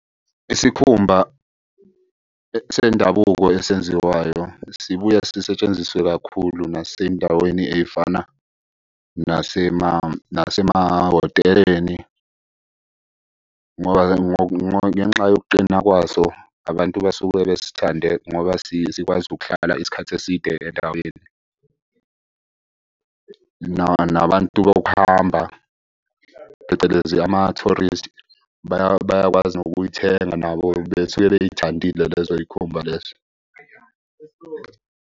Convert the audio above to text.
Isikhumba sendabuko esenziwayo sibuya sisetshenziswe kakhulu nasendaweni ey'fana nasemahhoteleni. Ngenxa yokuqina kwaso abantu basuke besithande ngoba sikwazi ukuhlala isikhathi eside endaweni. Nabantu bokuhamba phecelezi ama-tourist bayakwazi nokuyithenga nabo besuke bey'thandile lezo y'khumba lezo.